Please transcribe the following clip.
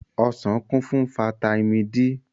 Ọsàn kún fún fataímìn D.